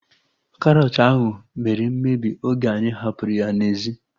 Karọt ahu mere mmebi oge anyị hapụrụ ya n'ezi